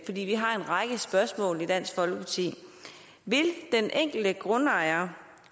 vi har en række spørgsmål i dansk folkeparti vil den enkelte grundejer